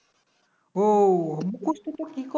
ও মুখস্ত তো তোর কি করে